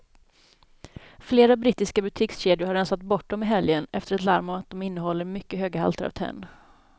Flera brittiska butikskedjor har rensat bort dem i helgen efter ett larm om att de innehåller mycket höga halter av tenn.